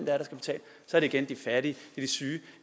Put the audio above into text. der det igen de fattige de syge